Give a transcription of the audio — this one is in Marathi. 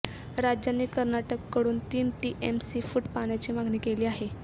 राज्याने कर्नाटककडून तीन टीएमसी फूट पाण्याची मागणी केली आहे